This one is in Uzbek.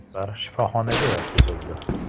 Ular shifoxonaga yotqizildi.